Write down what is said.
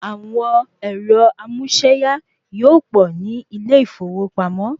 Àwọn ẹ̀rọ amúséyá yíò pọ̀ ní ilé ìfowópamọ́.